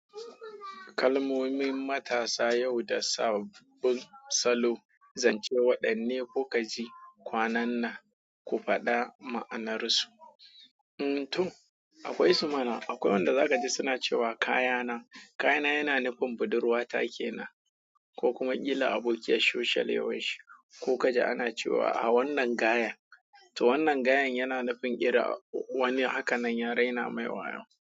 Kalmomin matasa yau da sabon salo zance waɗanne kuka ji kwanan nan ku faɗa ma'anarsu. To akwai su mana, akwai wanda zaka ji suna cewa kayana. Kayana yana nufin budurwa ta kenan ko kuma kila abokiyar shishalewar shi. Ko ka ji ana cewa a wannan gayen, to wannan gayen yana nufin wani, hakanan yaraina mai wayo.